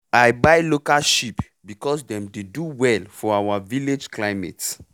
i buy local sheep because dem dey do well for our village climate